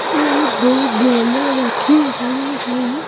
और दो बोलें रखी हुई हैं।